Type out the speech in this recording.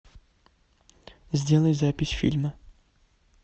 сделай запись фильма